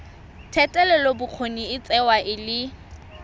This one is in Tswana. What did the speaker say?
thetelelobokgoni e tsewa e le